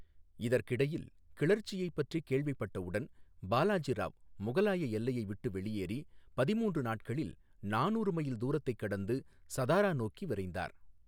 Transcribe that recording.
இதற்கிடையில், கிளர்ச்சியைப் பற்றி கேள்விப்பட்டவுடன், பாலாஜி ராவ் முகலாய எல்லையை விட்டு வெளியேறி, பதிமூன்று நாட்களில் நானூறு மைல் தூரத்தை கடந்து சதாரா நோக்கி விரைந்தார்.